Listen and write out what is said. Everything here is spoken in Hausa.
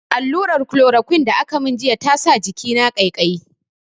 Alluran "chloroquine" da aka mun jiya ya sa jikina ƙaiƙayi.